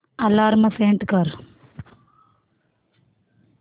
alarm set कर